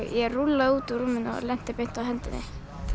ég rúllaði út úr rúminu og lenti beint á hendinni